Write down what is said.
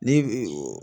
Ni